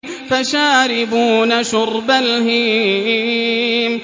فَشَارِبُونَ شُرْبَ الْهِيمِ